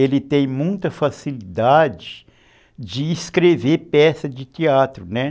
ele tem muita facilidade de escrever peças de teatro, né.